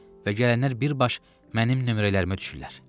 Və gələnlər bir baş mənim nömrələrimə düşürlər.